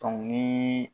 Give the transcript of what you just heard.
ni